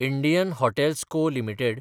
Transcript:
Indian hotels co limited